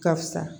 Ka fisa